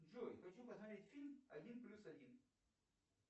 джой хочу посмотреть фильм один плюс один